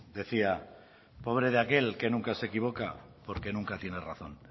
decía pobre de aquel que nunca se equivoca porque nunca tiene razón